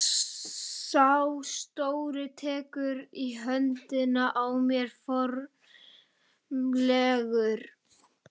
Sá stóri tekur í höndina á mér formlegur.